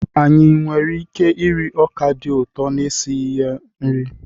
Anyị nwere ike iri ọka dị ụtọ na-esighi esi nri?